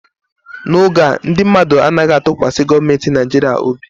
N'oge a, ndị mmadụ anaghị atụkwasị gọọmentị Nigeria obi